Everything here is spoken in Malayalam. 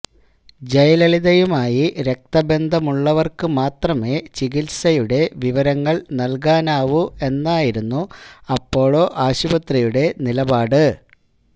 ജയലളിതയുമായി രക്തബന്ധമുള്ളവര്ക്കു മാത്രമേ ചികിത്സയുടെ വിവരങ്ങള് നല്കാനാവൂ എന്നായിരുന്നു അപ്പോളോ ആശുപത്രിയുടെ നിലപാട്